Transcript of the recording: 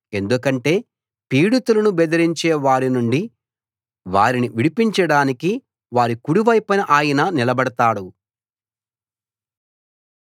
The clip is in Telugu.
ఎందుకంటే పీడితులను బెదిరించే వారినుండి వారిని విడిపించడానికి వారి కుడి వైపున ఆయన నిలబడతాడు